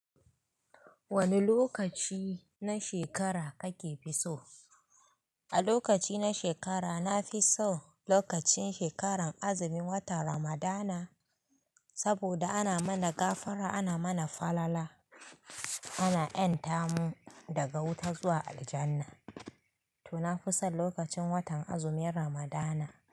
Wane lokaci na shekara kake fi so? A lokaci na shekara na fi so lokacin shekaran azumi, watan Ramadana, saboda ana mana gafara, ana mana falala, ana ƴanta mu daga wuta zuwa aljanna. To na fi son lokacin watan azumin Ramadana.